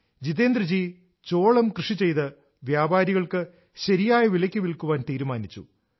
ജിതേന്ദ്ര ജി ചോളം കൃഷി ചെയ്ത് വ്യാപാരികൾക്ക് ശരിയായ വിലയ്ക്ക് വിൽക്കാൻ തീരുമാനിച്ചു